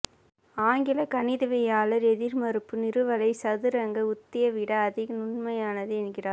ஆங்கிலக் கணிதவியலாளர் எதிர்மறுப்பு நிறுவலை சதுரங்க உத்தியைவிட அதிக நுண்மையானது என்கிறார்